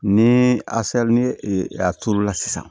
Ni ni a turula sisan